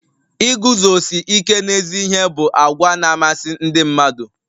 Iguzosi ike n'ezi ihe bụ àgwà na-amasị ndị mmadụ.